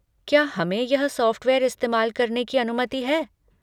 क्या हमें यह सॉफ़्टवेयर इस्तेमाल करने की अनुमति है?